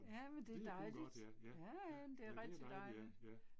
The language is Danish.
Ja men det er dejligt ja ja, det er rigtig dejligt